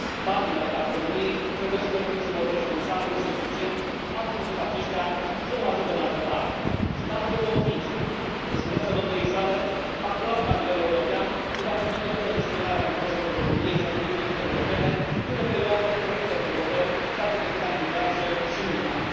Banii alocați României trebuie cheltuiți în mod responsabil și eficient, astfel încât aceștia să nu ajungă în altă parte. Sunt absolut convins că experiența domniei sale acumulată la nivel european îi va permite o bună gestionare a intereselor României și ale Uniunii Europene într o perioadă de profunde provocări, date de criza imigranților și nu numai.